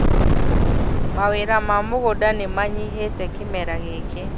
Mawĩr a ma mũgũnda nĩmanyihĩte kĩmera gĩkĩ